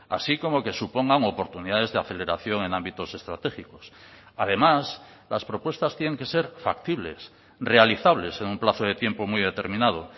así como que supongan oportunidades de aceleración en ámbitos estratégicos además las propuestas tienen que ser factibles realizables en un plazo de tiempo muy determinado